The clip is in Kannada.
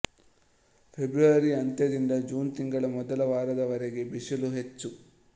ಫೆಬ್ರವರಿ ಅಂತ್ಯದಿಂದ ಜೂನ್ ತಿಂಗಳ ಮೊದಲ ವಾರದವರೆಗೆ ಬಿಸಿಲು ಹೆಚ್ಚು